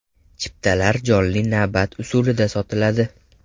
Chiptalar jonli navbat usulida sotiladi.